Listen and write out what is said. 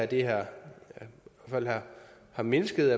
det her har mindsket